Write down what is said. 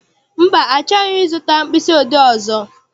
Mba, achọghị m I zụta mkpịsị odee ọzọ.